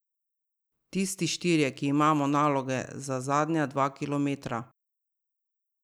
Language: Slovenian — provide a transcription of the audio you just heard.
Tisti štirje, ki imamo naloge za zadnja dva kilometra.